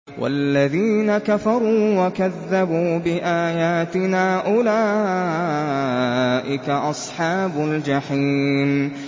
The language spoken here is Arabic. وَالَّذِينَ كَفَرُوا وَكَذَّبُوا بِآيَاتِنَا أُولَٰئِكَ أَصْحَابُ الْجَحِيمِ